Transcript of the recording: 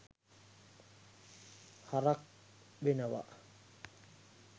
හරක් වෙනව